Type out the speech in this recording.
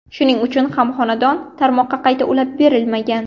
Shuning uchun ham xonadon tarmoqqa qayta ulab berilmagan.